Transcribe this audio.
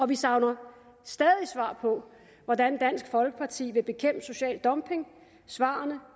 vi savner stadig svar på hvordan dansk folkeparti vil bekæmpe social dumping svarene